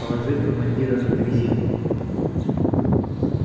положи командира на дрезину